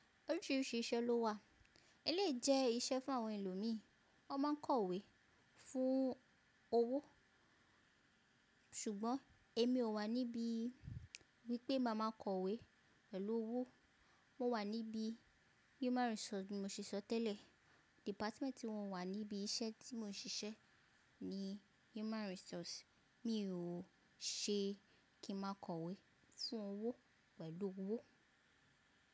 Oríṣiríṣi iṣẹ́ ló wà, e lèi jẹ iṣẹ́ fún àwọn ẹlòmíì, wọ́n máa ń kọ̀wé fún owó. Ṣùgbọ́n èmi ò wà níbí wípé màá máa kọ̀wé pẹ̀lú owó, mo wà níbí Human Resource mo ṣiṣọ tẹ́lẹ̀. Dìpátímẹ́ntì wọ́n wà níbi iṣẹ́ tí mò ń ṣiṣẹ́ ní Human Resource. Mi ò ṣe kí màá kọ̀wé fún owó pẹ̀lú owó.